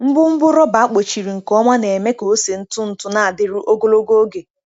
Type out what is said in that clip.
Ngwongwo rọba akpọchiri nke ọma na-eme ka ose ntụ ntụ na-adịru ogologo oge.